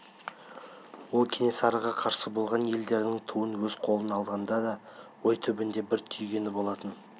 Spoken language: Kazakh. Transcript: ол кенесарыға қарсы болған елдердің туын өз қолына алғанда да ой түбінде бір түйгені болатын